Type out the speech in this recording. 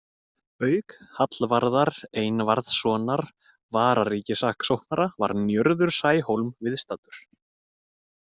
Auk Hallvarðar Einvarðssonar vararíkissaksóknara var Njörður Snæhólm viðstaddur.